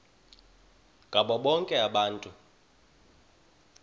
ngabo bonke abantu